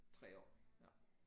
3 år ja